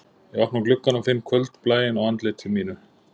Ég opna gluggann og finn kvöldblæinn á andliti mínu